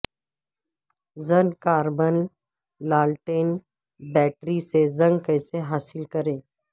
zinc carbon لالٹین battery سے zinc کیسے حاصل کریں